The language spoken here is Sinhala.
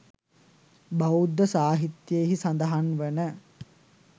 බෞද්ධ සාහිත්‍යයෙහි සඳහන් වන